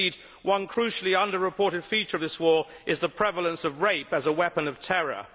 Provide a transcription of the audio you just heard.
Indeed one crucially under reported feature of this war is the prevalence of rape as a weapon of terror.